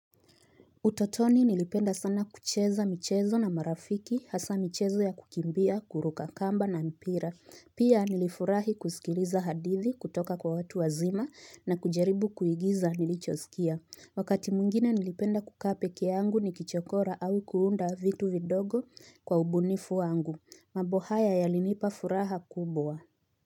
Utotoni nilipenda sana kucheza michezo na marafiki hasaa michezo ya kukimbia, kuruka kamba na mipira. Pia nilifurahi kusikiliza hadithi kutoka kwa watu wazima na kujaribu kuigiza nilichosikia. Wakati mwingine nilipenda kukaa pekee yangu nikichokora au kuunda vitu vidogo kwa ubunifu wangu. Mambo haya yalinipa furaha kubwa.